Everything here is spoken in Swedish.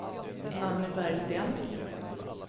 Nanny Bergsten